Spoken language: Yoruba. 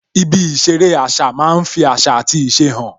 Ibi ìṣeré àṣà máa ń fi àṣà àti ìṣe hàn